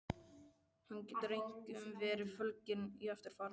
Hann getur einkum verið fólginn í eftirfarandi